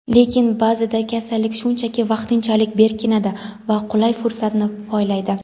Lekin ba’zida kasallik shunchaki vaqtinchalik "berkinadi" va qulay fursatni poylaydi".